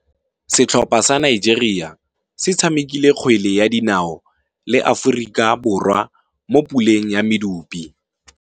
Setlhopha sa Nigeria se tshamekile kgwele ya dinaô le Aforika Borwa mo puleng ya medupe.